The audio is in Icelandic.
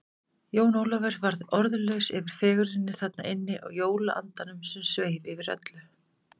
Jón Ólafur varð orðlaus yfir fegurðinni þarna inni og jólaandanum sem sveif yfir öllu.